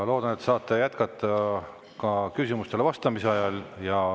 Loodan, et saate jätkata ka küsimustele vastamise ajal.